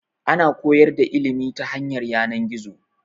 Ana koyar da ilimi ta hanyar yanan-gizo